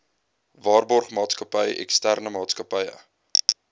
waarborgmaatskappy eksterne maatsakappy